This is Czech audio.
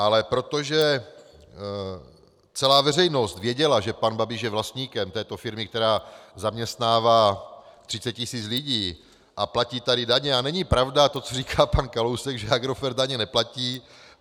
Ale protože celá veřejnost věděla, že pan Babiš je vlastníkem této firmy, která zaměstnává 30 tisíc lidí a platí tady daně - a není pravda to, co říká pan Kalousek, že Agrofert daně neplatí.